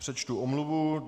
Přečtu omluvu.